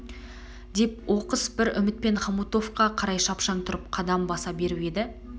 деп оқыс бір үмітпен хомутовқа қарай шапшаң тұрып қадам баса беріп еді